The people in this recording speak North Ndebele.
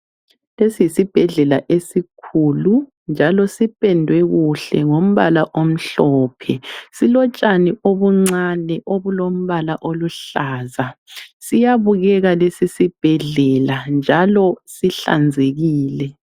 Lesi yisibhedlela esikhulu njalo sipendwe kuhle ngombala omhlophe. Silotshani obuncani obulombala oluhlaza, siyabukeka lesisibhedlela njalo sihlanzekile.